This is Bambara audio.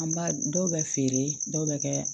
An b'a dɔw bɛ feere dɔw bɛ kɛ